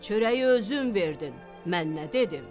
Çörəyi özün verdin, mən nə dedim?"